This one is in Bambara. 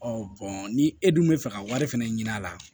ni e dun bɛ fɛ ka wari fɛnɛ ɲini a la